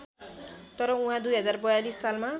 तर उहाँ २०४२ सालमा